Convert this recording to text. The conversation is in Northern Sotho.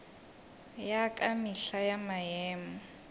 ya ka mehla ya maemo